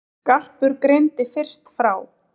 Skarpur greindi fyrst frá.